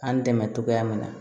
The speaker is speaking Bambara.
An dɛmɛ cogoya min na